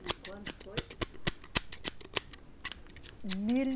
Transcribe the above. E quando foi? Mil